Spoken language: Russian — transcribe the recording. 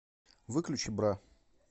выключи бра